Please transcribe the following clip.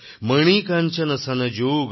Monikanchan সনযোগ